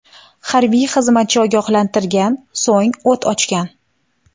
Harbiy xizmatchi ogohlantirgan, so‘ng o‘t ochgan.